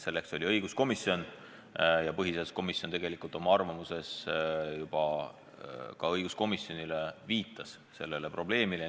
Selleks oli õiguskomisjon ja põhiseaduskomisjon oma arvamuses õiguskomisjonile sellele probleemile viitas.